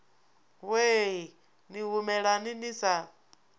wee ni humelani ni sa